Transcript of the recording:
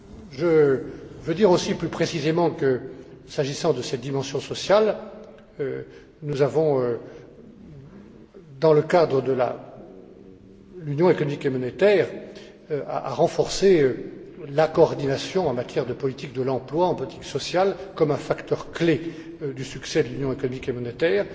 Je veux dire aussi plus précisément que, s'agissant de cette dimension sociale, nous devons, dans le cadre de l'union économique et monétaire, renforcer la coordination en matière de politique de l'emploi, en politique sociale, comme un facteur clé du succès de l'union économique et monétaire.